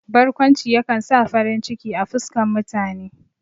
Barkwanci ya kan sa farin ciki a fuskan mutane.